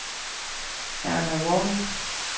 Erna Warming